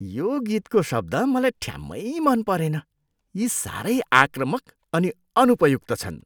यो गीतको शब्द मलाई ठ्याम्मै मन परेन। यी साह्रै आक्रामक अनि अनुपयुक्त छन्।